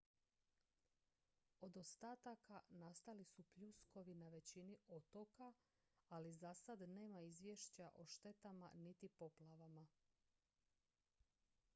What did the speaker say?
od ostataka nastali su pljuskovi na većini otoka ali za sad nema izvješća o štetama niti poplavama